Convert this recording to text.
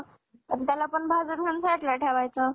आणि त्याला पण भाजुन भाजुन साईटला ठेवायचं .